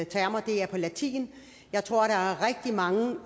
termer er på latin jeg tror der er rigtig mange